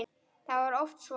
Það var oft svo.